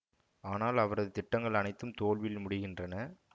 ஆனால் அவரது திட்டங்கள் அனைத்தும் தோல்வியில் முடிகின்றன